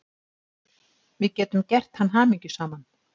Við getum gert hann hamingjusaman.